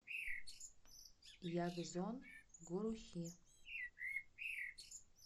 ягзон гурухи